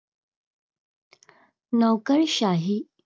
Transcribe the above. नोकरशाही.